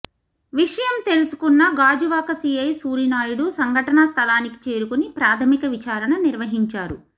విషయం తెలుసుకున్న గాజువాక సీఐ సూరినాయుడు సంఘటనా స్థలానికి చేరుకొని ప్రాథమిక విచారణ నిర్వహించారు